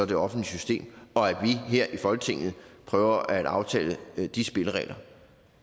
det offentlige system og at vi her i folketinget prøver at aftale de spilleregler